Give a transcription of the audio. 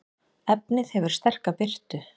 efnið hefur sterka birtu